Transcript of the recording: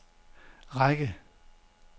række